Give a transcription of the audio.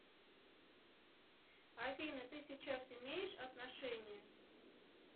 афина ты сейчас имеешь отношения